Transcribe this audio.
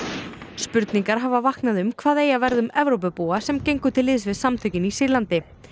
spurningar hafa vaknað um hvað eigi að verða um Evrópubúa sem gengu til liðs við samtökin í Sýrlandi